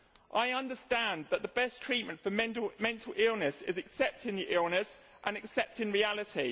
I understand that the best treatment for mental illness is accepting the illness and accepting reality.